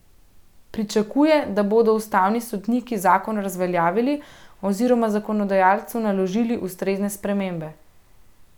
Pričakuje, da bodo ustavni sodniki zakon razveljavili, oziroma zakonodajalcu naložili ustrezne spremembe.